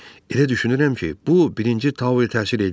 Elə düşünürəm ki, bu birinci Tauya təsir eləyər.